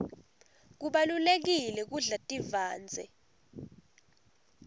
kubalulekile kudla tivandze